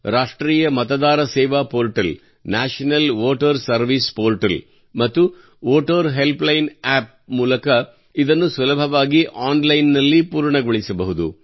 ರಾಷ್ಟ್ರೀಯ ಮತದಾರ ಸೇವಾ portal national voter service portal ಮತ್ತು ವೋಟರ್ ಹೆಲ್ಪ್ಲೈನ್ ಅಪ್ ಮೂಲಕ ಇದನ್ನು ಸುಲಭವಾಗಿ ಆನ್ಲೈನ್ ನಲ್ಲಿ ಪೂರ್ಣಗೊಳಿಸಬಹುದು